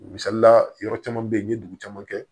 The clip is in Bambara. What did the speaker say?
Misalila yɔrɔ caman bɛ ye n ye dugu caman kɛ